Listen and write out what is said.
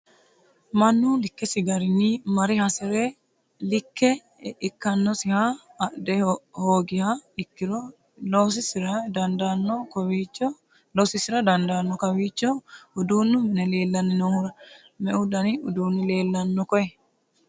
mannu likkesi garinni mare hasire likke ikkannosiha adhe hoogiha ikkiro loosiisira dandaanno kowiicho uduunnu mine leellanni noohura? meu dani uduunni leelanno koye?